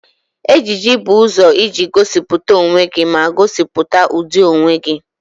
Ejiji bụ ụzọ iji gosipụta onwe gị ma gosipụta ụdị onwe gị.